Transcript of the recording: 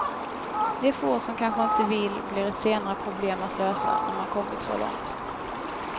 De få som kanske inte vill blir ett senare problem att lösa, när man kommit så långt.